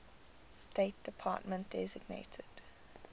state department designated